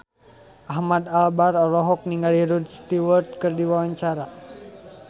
Ahmad Albar olohok ningali Rod Stewart keur diwawancara